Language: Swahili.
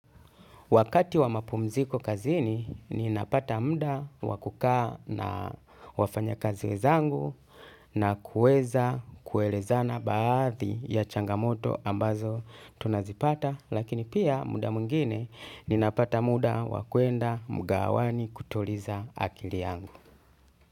Wakati wa mapumziko kazini ninapata muda wa kukaa na wafanyakazi wenzangu na kuweza kuelezana baadhi ya changamoto ambazo tunazipata lakini pia muda mwingine ninapata muda wa kuenda mgahawani kutuliza akili yangu.